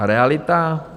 A realita?